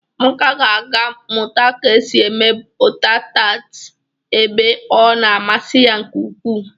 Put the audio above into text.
Amaka ga-aga Mụta ka esi eme bọta tat ebe ọ na a masi ya nke ukwu.